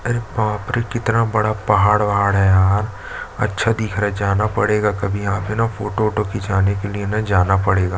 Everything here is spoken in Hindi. अरे बाप रे कितना बड़ा पहाड़- ओहाड़ है यार अच्छा दिख रहा है जाना पड़ेगा कभी यहाँ पे ना फोटो ओटो खिचवाने के लिए जाना पड़ेगा --